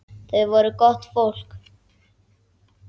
Þau voru gott fólk.